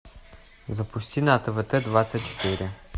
запусти на твт двадцать четыре